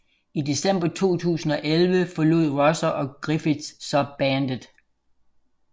I december 2011 forlod Rosser og Griffiths så bandet